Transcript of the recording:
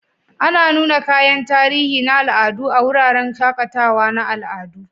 Ana nuna kayan tarihi na al'adu a wuraren shaƙatawa na al'adu.